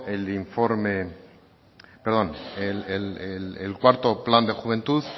el cuarto plan de juventud